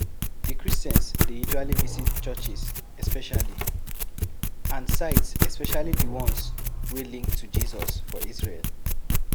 Di christians dey usually visit churches especially and sites especially di ones wey link to Jesus for Isreal